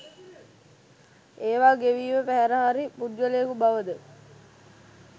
ඒවා ගෙවීම පැහැර හැරි පුද්ගලයකු බවද